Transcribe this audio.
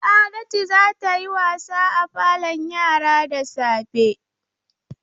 Sa'adatu za ta yi wasa a falon yara da safe.